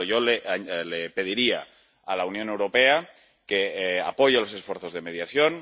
Por lo tanto, yo le pediría a la Unión Europea que apoye los esfuerzos de mediación.